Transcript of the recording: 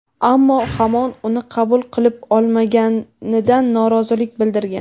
ammo hamon uni qabul qilib olmaganidan norozilik bildirgan.